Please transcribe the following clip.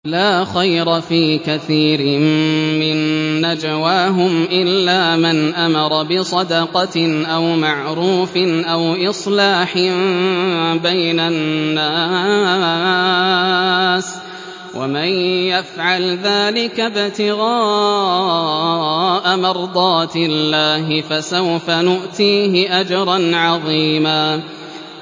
۞ لَّا خَيْرَ فِي كَثِيرٍ مِّن نَّجْوَاهُمْ إِلَّا مَنْ أَمَرَ بِصَدَقَةٍ أَوْ مَعْرُوفٍ أَوْ إِصْلَاحٍ بَيْنَ النَّاسِ ۚ وَمَن يَفْعَلْ ذَٰلِكَ ابْتِغَاءَ مَرْضَاتِ اللَّهِ فَسَوْفَ نُؤْتِيهِ أَجْرًا عَظِيمًا